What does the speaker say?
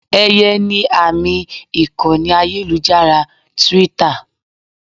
Eye ni àmì ìkànnì ayélujára Twitter.